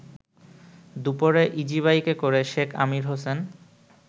দুপুরে ইজিবাইকে করে শেখ আমির হোসেন